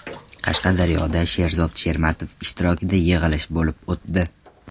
Qashqadaryoda Sherzod Shermatov ishtirokida yig‘ilish bo‘lib o‘tdi.